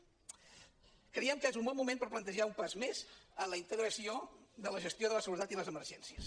creiem que és un bon moment per plantejar un pas més en la integració de la gestió de la seguretat i les emergències